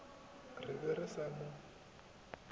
re be re sa mo